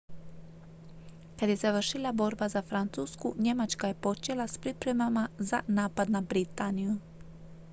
kad je završila borba za francusku njemačka je počela s pripremama za napad na britaniju